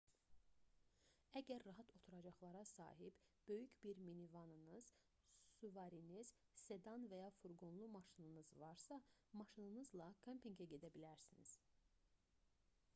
əgər rahat oturacaqlara sahib böyük bir minivanınız suvariniz sedan və ya furqonlu maşınınız varsa maşınınızla kempinqə gedə bilərsiniz